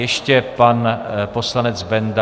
Ještě pan poslanec Benda.